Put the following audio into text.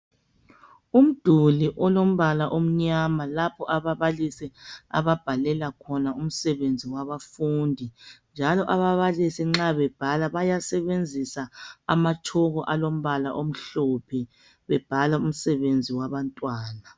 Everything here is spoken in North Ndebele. Umduli olombala omnyama lapho ababalisi ababhalela khona umsebenzi wabafundi njalo ababalisi nxa bebhala bayasebenzisa amatshoko alombala omhlophe bebhala umsebenzi wabantwana